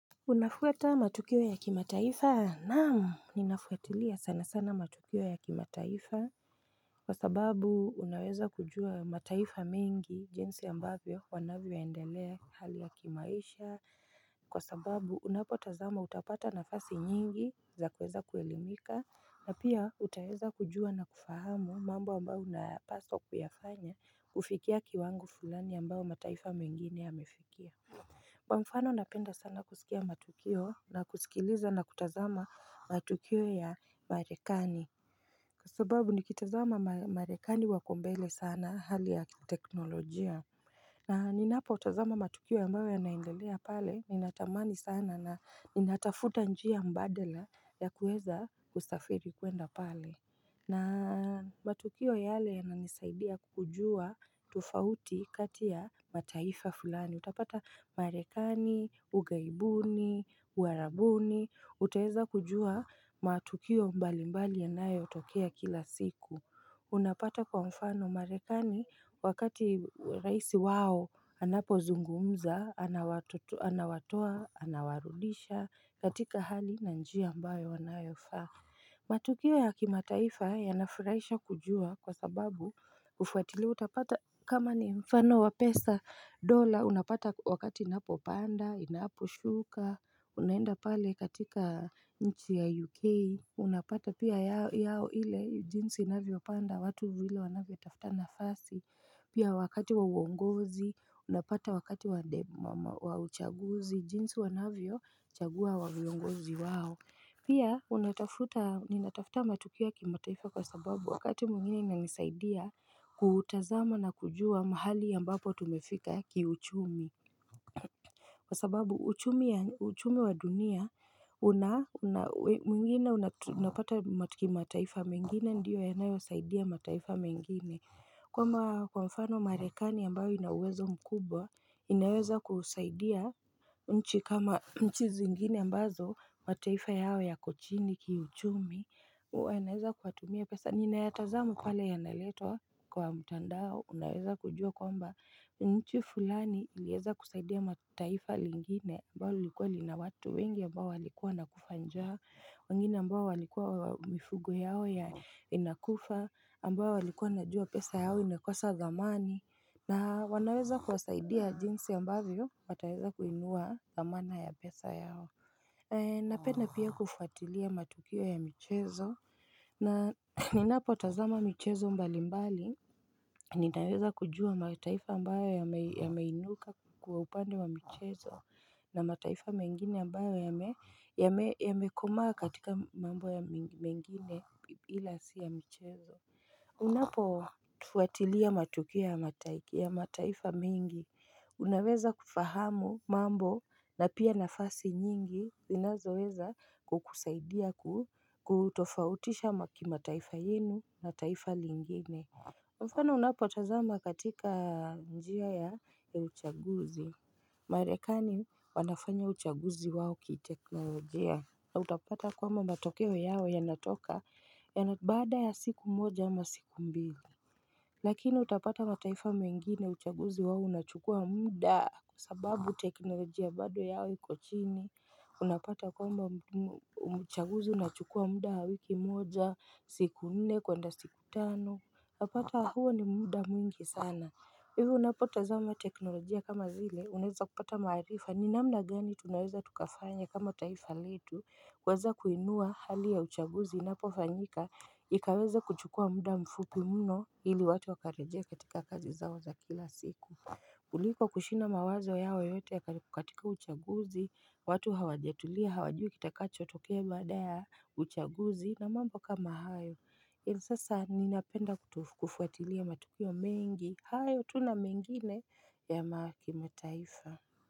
Unafuata matukio ya kimataifa? Naam Ninafuatilia sana sana matukio ya kimataifa Kwa sababu unaweza kujua mataifa mengi jinsi ambavyo wanavyoendelea hali ya kimaisha Kwa sababu unapo tazama utapata nafasi nyingi za kuweza kuelimika na pia utaweza kujua na kufahamu mambo ambayo unapaswa kuyafanya kufikia kiwangu fulani ambao mataifa mengine yamefikia Kwa mfano napenda sana kusikia matukio na kusikiliza na kutazama matukio ya marekani sababu nikitazama marekani wako mbele sana hali ya teknolojia na ninapo tazama matukio ambayo yanaendelea pale ninatamani sana na ninatafuta njia mbadala ya kuweza kusafiri kuenda pale matukio yale yananisaidia kukujua tofauti kati ya mataifa fulani Utapata marekani, ugaibuni, uwarabuni utaweza kujua matukio mbali mbali yanayo tokea kila siku Unapata kwa mfano marekani wakati rais wao Anapozungumza, anawatoa, anawarudisha katika hali na njia ambayo wanayofaa matukio ya kimataifa yanafurahisha kujua kwa sababu kufuatilia utapata kama ni mfano wa pesa dola unapata wakati inapopanda inaposhuka unaenda pale katika nchi ya UK Unapata pia yao ile jinsi inavyopanda watu vile wanavyotafta nafasi pia wakati wa uongozi unapata wakati wa uchaguzi jinsi wanavyo chagua viongozi wao Pia ninatafuta matukio ki mataifa kwa sababu wakati mwingine inanisaidia kutazama na kujua mahali ambapo tumefika ki uchumi Kwa sababu uchumi wa dunia, mwingine unapata mataifa mengine ndiyo yanayo saidia mataifa mengine kama kwa mfano marekani ambayo ina uwezo mkubwa, inaweza kusaidia nchi kama nchi zingine ambazo, mataifa yao yako chini kiuchumi huwa inaweza kuwatumia pesa, ninayataza pale yanaletwa kwa mtandao, unaweza kujua kwamba nchi fulani ilieza kusaidia taifa lingine, ambalo lilikuwa lina watu wengi ambao walikuwa nakufa njaa wengine ambao walikua mifugu yao inakufa, ambao walikua wanajua pesa yao imekosa thamani, na wanaweza kwasaidia jinsi ambavyo, wataweza kuinua thamana ya pesa yao. Napenda pia kufuatilia matukio ya michezo, na ninapotazama michezo mbali mbali, ninaweza kujua mataifa ambayo yameinuka kwa upande wa michezo, na mataifa mengine ambayo yamekomaa katika mambo mengine ila si ya michezo Unapofuatilia matukio ya mataifa mengi Unaweza kufahamu mambo na pia nafasi nyingi zinazoweza kukusaidia kutofautisha mataifa yenu na taifa lingine kwa mfano unapotazama katika njia ya uchaguzi Marekani wanafanya uchaguzi wao ki teknolojia na utapata kwamba matokeo yao yanatoka baada ya siku moja ama siku mbili Lakini utapata mataifa mengine uchaguzi wao unachukua muda sababu teknolojia bado yao iko chini Unapata kwamba uchaguzi unachukua muda wa wiki moja siku nne kwenda siku tano unapata huo ni muda mwingi sana Hivo unapotazama teknolojia kama zile uneza kupata marifa ni namna gani tunaweza tukafanya kama taifa letu kuweza kuinua hali ya uchaguzi unapofanyika ikaweza kuchukua muda mfupi mno ili watu wakarejea katika kazi zao za kila siku kuliko kushinda mawazo yao yote katika uchaguzi, watu hawajatulia hawajui kitakacho tokea baada ya uchaguzi na mambo kama hayo, ili sasa ninapenda kufuatilia matukio mengi, hayo tu na mengine ya kimataifa.